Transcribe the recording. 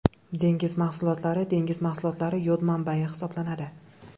Dengiz mahsulotlari Dengiz mahsulotlari yod manbayi hisoblanadi.